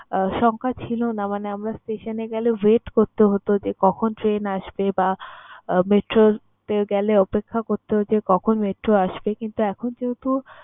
আহ সংখ্যা ছিল না। মানে আমরা station এ গেলে wait করতে হতো যে, কখন train আসবে বা metro র তে গেলে অপেক্ষা করতে হতো যে কখন metro আসবে কিন্তু এখন যেহেতু